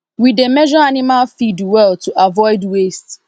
we dey measure animal feed well to avoid waste